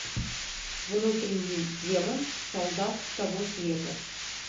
внутренний демон солдат с того света